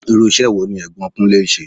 Irú ìṣe wo ní Ẹ̀gbọ́n Kunlè ń ṣe?